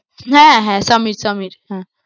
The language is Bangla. হ্যাঁ, হ্যাঁ সমীর সমীর হ্যাঁ।